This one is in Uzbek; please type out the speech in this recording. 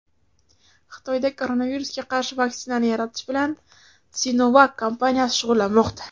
Xitoyda koronavirusga qarshi vaksinani yaratish bilan SinoVac kompaniyasi shug‘ullanmoqda.